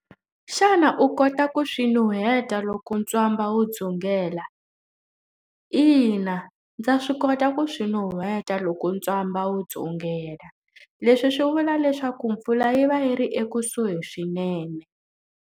Xana u kota ku swi nuheta loko ntswamba wu dzungela? Ina, ndza swi kota ku swi nuheta loko ntswamba wu dzungela, leswi swi vula leswaku mpfula yi va yi ri ekusuhi swinene.